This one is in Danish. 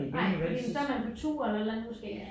Nej fordi så er man på tur eller et eller andet måske